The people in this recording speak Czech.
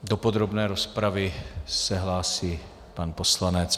Do podrobné rozpravy se hlásí pan poslanec.